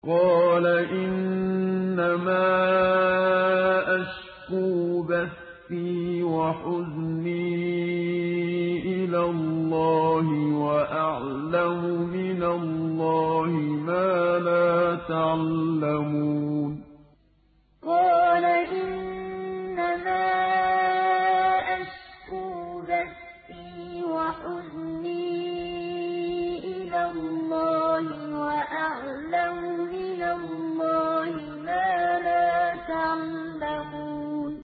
قَالَ إِنَّمَا أَشْكُو بَثِّي وَحُزْنِي إِلَى اللَّهِ وَأَعْلَمُ مِنَ اللَّهِ مَا لَا تَعْلَمُونَ قَالَ إِنَّمَا أَشْكُو بَثِّي وَحُزْنِي إِلَى اللَّهِ وَأَعْلَمُ مِنَ اللَّهِ مَا لَا تَعْلَمُونَ